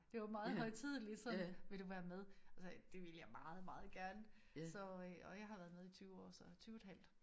Det var meget højtideligt sådan vil du være med og så det ville jeg meget meget gerne så øh og jeg har været med i 20 år så 20 et halvt